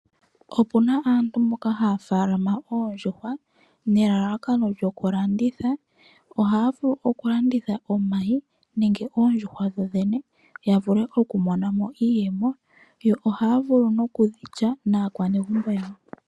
Opuma aantu mboka haya tekula oondjuhwa nelalakano lyoku landitha. Ohaya vulu oku landitha omayi nenge oondjuhwa dhodhene yavule okumonamo iiyemo yo ohaya vulu nokudhilya naakwanegumbo yawo.